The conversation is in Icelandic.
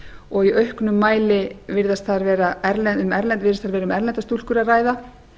og í auknum mæli virðist vera þar um erlendar stúlkur að ræða